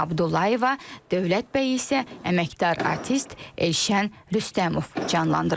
Dövlət bəy isə əməkdar artist Elşən Rüstəmov canlandıracaq.